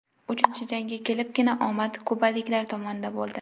Uchinchi jangga kelibgina omad kubaliklar tomonida bo‘ldi.